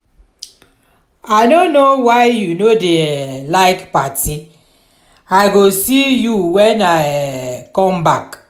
i no know why you no dey um like party. i go see you when i um come back.